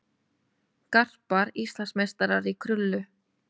Garpar Íslandsmeistarar í krullu